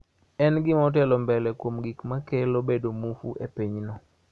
En gima otelo mbele kuom gik ma kelo bedo muofu e pinyno